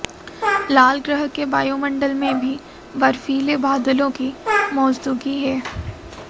लाल ग्रह के वायुमंडल में भी बर्फीले बादलों की मौजूदगी है